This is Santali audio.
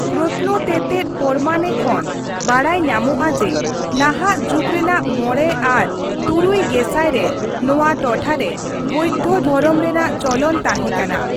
ᱯᱨᱚᱛᱱᱚ ᱛᱮᱛᱮᱫ ᱯᱚᱨᱢᱟᱱ ᱠᱷᱚᱱ ᱵᱟᱰᱟᱭ ᱧᱟᱢᱚᱜᱼᱟ ᱡᱮ ᱱᱟᱦᱟᱜ ᱡᱩᱜᱽ ᱨᱮᱱᱟᱜ ᱢᱚᱲᱮ ᱟᱨ ᱛᱩᱨᱩᱭ ᱜᱮᱥᱟᱭ ᱨᱮ ᱱᱚᱣᱟ ᱴᱚᱴᱷᱟ ᱨᱮ ᱵᱳᱣᱫᱷᱚ ᱫᱷᱚᱨᱚᱢ ᱨᱮᱱᱟᱜ ᱪᱚᱞᱚᱱ ᱛᱟᱸᱦᱮ ᱠᱟᱱᱟ ᱾